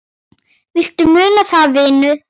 Viltu muna það, vinur?